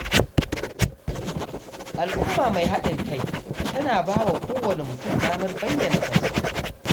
Al’umma mai haɗin kai tana ba wa kowane mutum damar bayyana kansa.